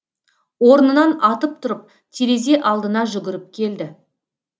орнынан атып тұрып терезе алдына жүгіріп келді